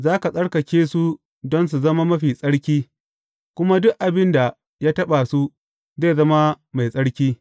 Za ka tsarkake su don su zama mafi tsarki, kuma duk abin da ya taɓa su, zai zama mai tsarki.